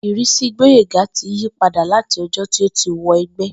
Ìrísí Gbóyèga ti yí padà láti o̩jó̩ tí ó ti wo̩ e̩gbé̩